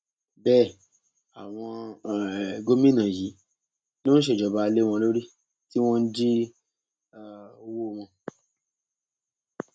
bẹẹ àwọn um gómìnà yìí ló ń ṣèjọba lé wọn lórí tí wọn ń jí um owó wọn